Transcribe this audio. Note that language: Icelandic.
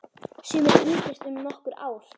Sumir yngjast um nokkur ár.